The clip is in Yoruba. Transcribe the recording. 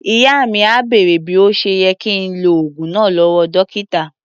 Ìyá mi à bèrè bí ó ṣe yẹ kí ń lo oògùn náà lọ́wọ́ dọ́kítà.